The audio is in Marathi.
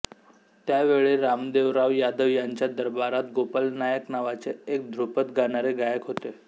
त्यावेळी रामदेवराव यादव यांच्या दरबारात गोपाल नायक नावाचे एक ध्रुपद गाणारे गायक होते